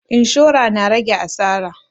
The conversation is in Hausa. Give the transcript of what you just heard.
Inshora na rage asara